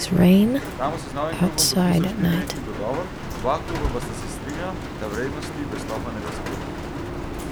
Ramos je z novim klubom podpisal štiriletni dogovor, oba kluba pa sta se strinjala, da vrednosti prestopa ne razkrijeta.